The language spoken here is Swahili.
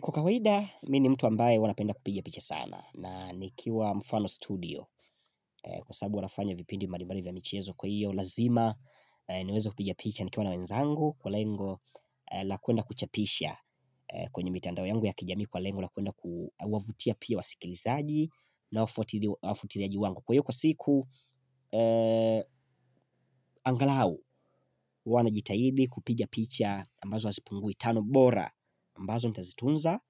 Kwa kawaida, mimi ni mtu ambaye huwa ninapenda kupiga picha sana. Nikiwa mfano studio, kwa sababu huwa nafanya vipindi mbalimbali vya michezo. Kwa hio lazima niweze kupiga picha nikiwa na wenzangu kwa lengo la kuenda kuchapisha kwenye mitandao yangu ya kijamii kwa lengo la kuenda kuwavutia pia wasikilizaji na wafuatiliaji wangu. Kwa hiyo kwa siku, angalau huwa najitahidi kupiga picha ambazo hazipungui tano bora ambazo nitazitunza